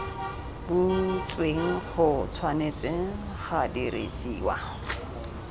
butsweng go tshwanetse ga dirisiwa